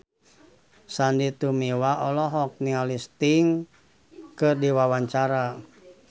Sandy Tumiwa olohok ningali Sting keur diwawancara